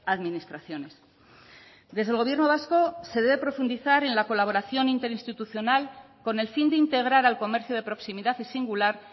administraciones desde el gobierno vasco se debe profundizar en la colaboración interinstitucional con el fin de integrar al comercio de proximidad y singular